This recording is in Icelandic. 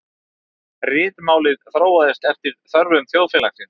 Ritmálið þróaðist eftir þörfum þjóðfélagsins.